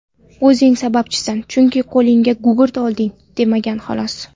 O‘zing sababchisan, chunki qo‘lingga gugurt olding, demagan xolos.